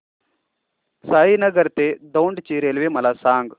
साईनगर ते दौंड ची रेल्वे मला सांग